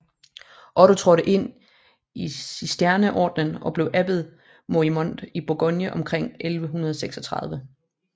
Otto trådte ind i cistercienserordenen og blev abbed Morimond i Bourgogne omkring 1136